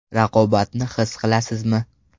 Raqobatni his qilasizmi?